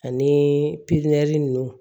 Ani pipiniyɛri nunnu